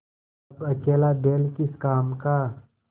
अब अकेला बैल किस काम का